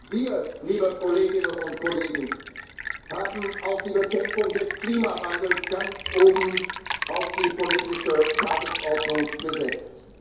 wurden. Wir, liebe Kolleginnen und Kollegen, haben auch die Bekämpfung des Klimawandels ganz oben auf die politische Tagesordnung